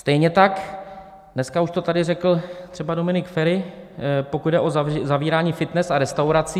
Stejně tak, dneska už to tady řekl třeba Dominik Feri, pokud jde o zavírání fitness a restaurací.